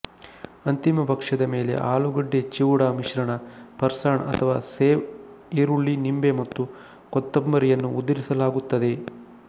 ಅಂತಿಮ ಭಕ್ಷ್ಯದ ಮೇಲೆ ಆಲೂಗಡ್ಡೆಚಿವ್ಡಾ ಮಿಶ್ರಣ ಫ಼ರ್ಸಾಣ್ ಅಥವಾ ಸೇವ್ ಈರುಳ್ಳಿ ನಿಂಬೆ ಮತ್ತು ಕೊತ್ತಂಬರಿಯನ್ನು ಉದುರಿಸಲಾಗುತ್ತದೆ